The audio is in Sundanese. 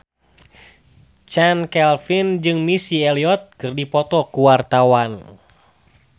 Chand Kelvin jeung Missy Elliott keur dipoto ku wartawan